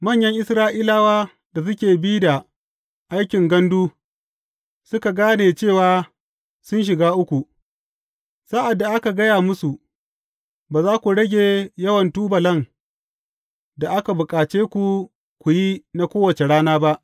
Manyan Isra’ilawa da suke bi da aikin gandu suka gane cewa sun shiga uku, sa’ad da aka gaya musu, Ba za ku rage yawan tubulan da aka bukace ku ku yi na kowace rana ba.